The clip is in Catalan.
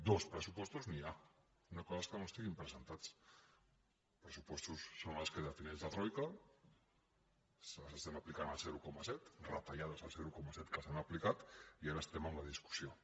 dos de pressupostos n’hi ha una altra cosa és que estiguin presentats els pressupostos són els que defineix la troica els estem aplicant al zero coma set retallades al zero coma set que s’han aplicat i ara estem amb la discussió